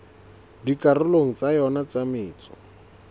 dikarolong tsa yona tsa metso